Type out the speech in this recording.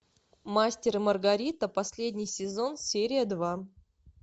мастер и маргарита последний сезон серия два